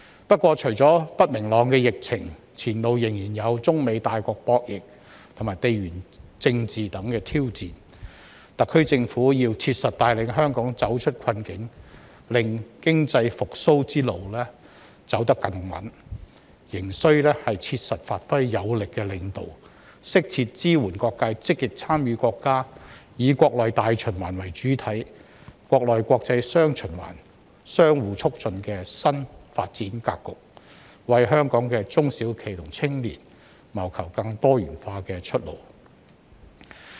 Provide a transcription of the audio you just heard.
不過，除了不明朗的疫情，前路仍然有中美大國博弈和地緣政治等挑戰，特區政府要切實帶領香港走出困境，令經濟復蘇之路走得更穩，還須切實發揮有力領導，適切支援各界積極參與國家"以國內大循環為主體、國內國際雙循環相互促進"的新發展格局，為香港的中小型企業和青年謀求更多元化的出路。